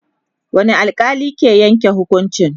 wani alkali ke Yanke hukuncin?